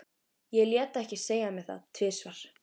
Ég lét ekki segja mér það tvisvar.